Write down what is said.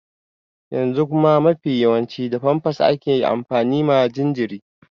Yanzu kuma mafi yawanci da famfas ake amfani ma jinjiri.